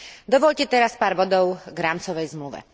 Dovoľte teraz pár bodov k rámcovej zmluve.